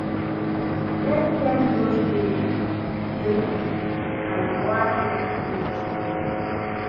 Let dem no sey yu appreciate dem and why dem dey special